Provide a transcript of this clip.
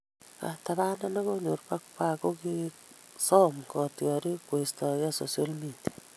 Katabanet ne konyor Pogba:Kokisom kotiorik koistogei Social Media